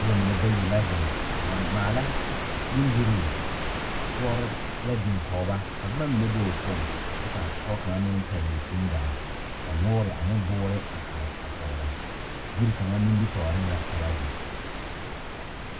Noba mine bayi la zeŋ a maala bondirii toɔre la biŋ kɔge ba ka boma mine be o poɔŋ kyɛ ka pɔge kaŋ meŋ pɛgle tundaa ka noore ane boore a are a kɔge ba yiri kaŋa nimitɔɔreŋ la ka ba zeŋ.